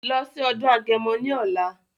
Lọ sí ọdún agẹmọ ní ọ̀la!